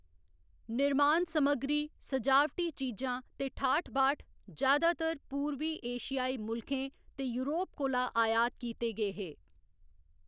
निर्मान समग्री, सजावटी चीजां ते ठाठ बाठ जैदातर पूरबी एशियाई मुल्खें ते यूरोप कोला आयात कीते गे हे।